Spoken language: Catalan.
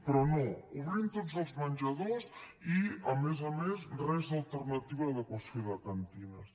però no obrir tots els menjadors i a més a més res d’alternativa d’adequació de cantines